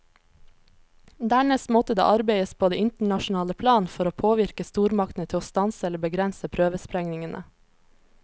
Dernest måtte det arbeides på det internasjonale plan for å påvirke stormaktene til å stanse eller begrense prøvesprengningene.